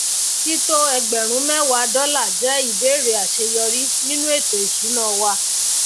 tító ẹgbèrún méwà dólà jè ìbèrè àséyórí nínu ètò ìsúná wa